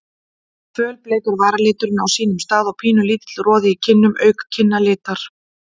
Fölbleikur varaliturinn á sínum stað og pínulítill roði í kinnum auk kinnalitar.